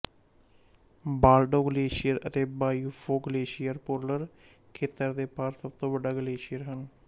Baltoro glacier ਅਤੇ Biafo glacier polar ਖੇਤਰ ਦੇ ਬਾਹਰ ਸਭ ਤੋਂ ਵੱਡਾ ਗਲੇਸ਼ੀਅਰ ਹਨ